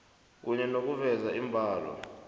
kunye nokuveza iimbalo